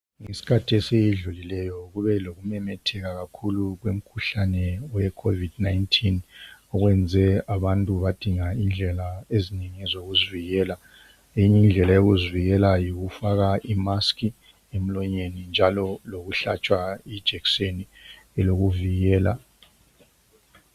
ngesikhathi esidlulileyo kube lokumemetheka kakhulu kwemikhuhlane we COVID 19 owenze abantu badinga indlela ezinye zokuzivikela enye indlela yokuzivikela yikufaka i mask emlonyeni njalo lokuhlatshwa ijekiseni elokuvikela